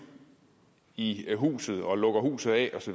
i huset og lukker huset af